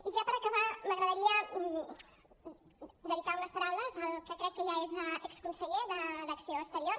i ja per acabar m’agradaria dedicar unes paraules al que crec que ja és exconseller d’acció exterior